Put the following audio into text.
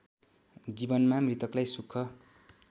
जीवनमा मृतकलाई सुख